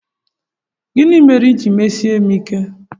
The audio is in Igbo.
Gịnị mere i ji mesie m ike?